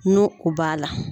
No o b'a la